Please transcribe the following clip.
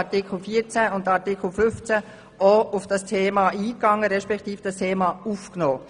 In den Anträgen zu den Artikeln 14 und 15 wird auf dieses Thema eingegangen respektive dieses wird aufgenommen.